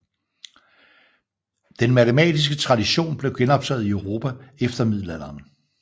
Den matematiske tradition blev genoptaget i Europa efter Middelalderen